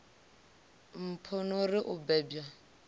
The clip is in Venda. mpho no ri u bebwa